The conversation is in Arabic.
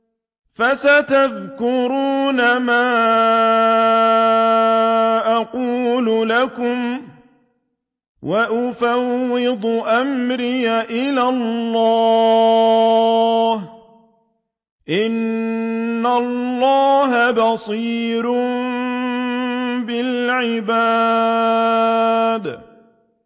فَسَتَذْكُرُونَ مَا أَقُولُ لَكُمْ ۚ وَأُفَوِّضُ أَمْرِي إِلَى اللَّهِ ۚ إِنَّ اللَّهَ بَصِيرٌ بِالْعِبَادِ